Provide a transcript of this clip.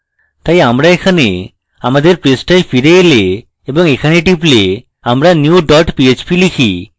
তাই আমরা এখানে আমাদের পৃষ্ঠাতে ফিরে এলে এবং এখানে টিপলে আমরা new dot পিএইচপি type